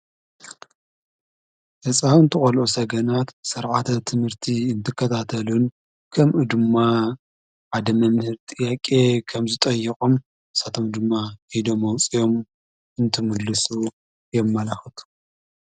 ህፃውንቲ ቖልኦ ሰገናት ሠርዓተት ትምህርቲ እንትከታተልን ከምኡድማ ኣደመምህር ጥኣቄ ኸምዘጠየቖም ሳቶም ድማ ኢዶ መውፂኦም እንትምልሱ የመላኹቱ።